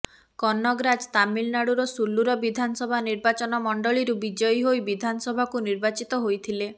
କନଗରାଜ୍ ତାମିଲନାଡୁର ସୁଲ୍ଲୁର ବିଧାନସଭା ନିର୍ବାଚନ ମଣ୍ଡଳୀରୁ ବିଜୟୀ ହୋଇ ବିଧାନସଭାକୁ ନିର୍ବାଚିତ ହୋଇଥିଲେ